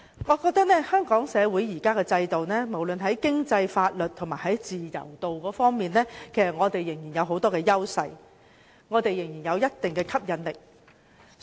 我認為香港社會現行的制度，無論是在經濟、法律及自由度方面，仍然有很多優勢，仍然有一定的吸引力。